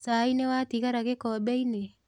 Cai nĩwatigara gĩkombeinĩ?